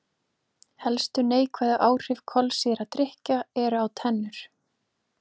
Helstu neikvæðu áhrif kolsýrðra drykkja eru á tennur.